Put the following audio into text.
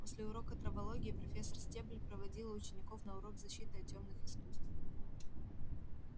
после урока травологии профессор стебль проводила учеников на урок защиты от тёмных искусств